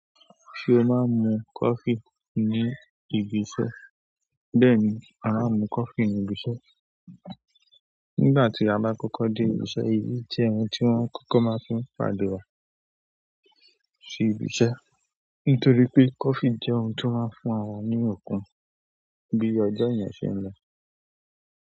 Ṣé o máa ń mu coffee ní ibi iṣẹ́? Bẹ́ẹ̀ni, a máa ń mu coffee ní ibi iṣẹ́. Nígbà tí a bá kọ́kọ́ dé ibi iṣẹ́, èyí jẹ́ ohun tí wón kọ́kọ́ máa fi ń pàdé wá sí ibi iṣẹ́. Nítorí pé coffee jẹ́ ohun tó máa ń fún àwa ní okun bí ọjọ́ yẹn ṣe ń lọ.